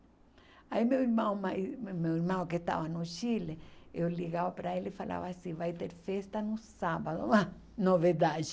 Aí meu irmão mais meu irmão que estava no Chile, eu ligava para ele e falava assim, vai ter festa no sábado, ah novidade.